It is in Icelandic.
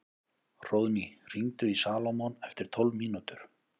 Hróðný, hringdu í Salómon eftir tólf mínútur.